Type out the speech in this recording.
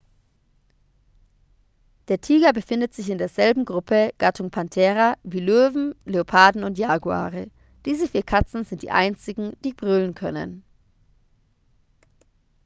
der tiger befindet sich in derselben gruppe gattung panthera wie löwen leoparden und jaguare. diese vier katzen sind die einzigen die brüllen können